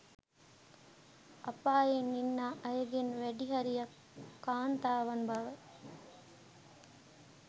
අපායේ ඉන්නා අයගෙන් වැඩිහරියක් කාන්තාවන් බව